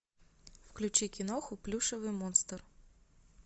включи киноху плюшевый монстр